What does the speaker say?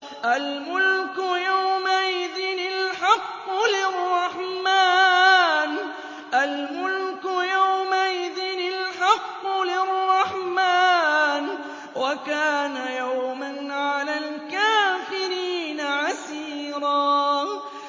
الْمُلْكُ يَوْمَئِذٍ الْحَقُّ لِلرَّحْمَٰنِ ۚ وَكَانَ يَوْمًا عَلَى الْكَافِرِينَ عَسِيرًا